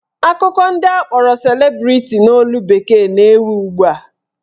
Akụkọ ndị akpọrọ celebrity n'olu bekee na-ewu ugbua